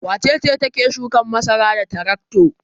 Wace ce take shukan masara da tarakto?